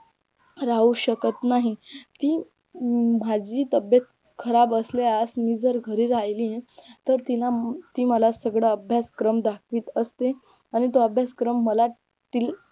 राहू शकत नाही ती माझी तब्येत खराब असल्यास मी जर घरी राहिली तर तिला ती मला सगळा अभ्यासक्रम दाखवीत असते आणि तो अभ्यासक्रम मला तिला